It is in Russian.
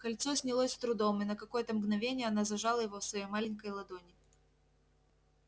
кольцо снялось с трудом и на какое-то мгновение она зажала его в своей маленькой ладони